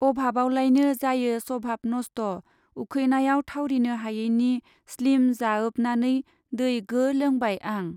अभाबआवलायनो जायो सभाब नस्ठ उखैनायाव थावरिनो हायैनि स्लिम जाओबनानै दै गो लोंबाय आं।